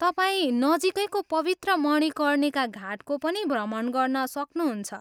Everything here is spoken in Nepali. तपाईँ नजिकैको पवित्र मणिकर्णिका घाटको पनि भ्रमण गर्न सक्नुहुन्छ।